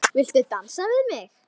Þetta leit illa út.